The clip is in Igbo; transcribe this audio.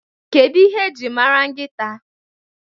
What is dog known for?